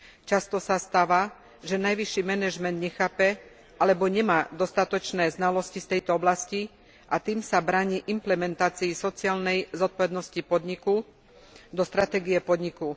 Často sa stáva, že najvyšší manažment nechápe alebo nemá dostatočné znalosti z tejto oblasti, a tým sa bráni implementácii sociálnej zodpovednosti podniku do stratégie podniku.